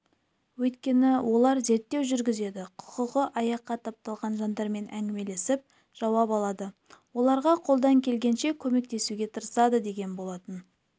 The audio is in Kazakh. өйткені олар зерттеу жүргізеді құқығы аяққа тапталған жандармен әңгімелесіп жауап алады оларға қолдан келгенше көмектесуге тырысады деген болатын